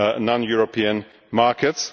other non European markets.